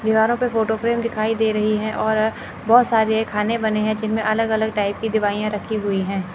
दीवारों पे photo frame दिखाई दे रही है और बहोत सारे खाने बने हैं जिनमें अलग अलग टाइप की दिवाइयां रखी हुई हैं।